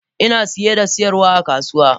Ina siye da siyarwa a kasuwa.